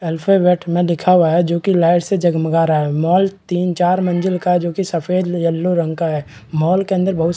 alphabet में लिखा हुआ हैं जो की लाइट से जगमगा रहा है मॉल तीन-चार मंजिल का है जो की सफ़ेद और येलो रंग का है मॉल के अंदर बहुत--